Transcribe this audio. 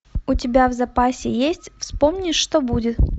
у тебя в запасе есть вспомни что будет